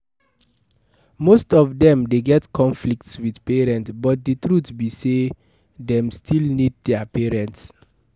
Most of them de get conflicts with parents but the truth be say dem still need their parents